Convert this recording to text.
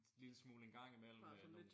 Lille smule en gang i mellem øh nogen